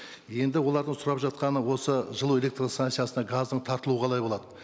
енді олардың сұрап жатқаны осы жылу электр станциясына газдың тартылуы қалай болады